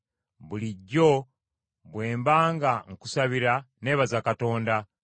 Bulijjo bwe mba nga nkusabira neebaza Katonda,